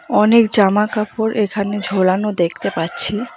অনেক জামাকাপড় এখানে ঝোলানো দেখতে পাচ্ছি।